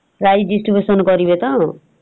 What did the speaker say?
prize distribution କରିବେ ତ ।